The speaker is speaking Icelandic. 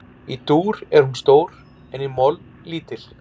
Í dúr er hún stór en í moll lítil.